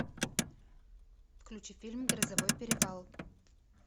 включи фильм грозовой перевал